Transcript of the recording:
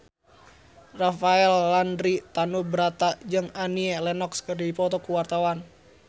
Rafael Landry Tanubrata jeung Annie Lenox keur dipoto ku wartawan